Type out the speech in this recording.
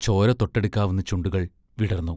ചോര തൊട്ടെടുക്കാവുന്ന ചുണ്ടുകൾ വിടർന്നു.